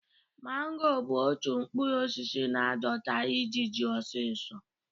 Mango bụ otu mkpụrụ osisi na-adọta ijiji osiso